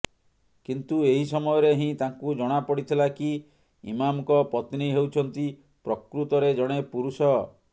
କିନ୍ତୁ ଏହି ସମୟରେ ହିଁ ତାଙ୍କୁ ଜଣା ପଡିଥିଲା କି ଇମାମଙ୍କ ପତ୍ନୀ ହେଉଛନ୍ତି ପ୍ରକୃତରେ ଜଣେ ପୁରୁଷ